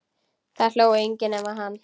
Það hló enginn nema hann.